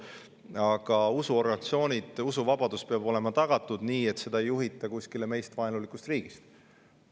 Usuorganisatsioonide ja usuvabadus peavad olema tagatud nii, et seda ei juhita kuskilt meile vaenulikust riigist.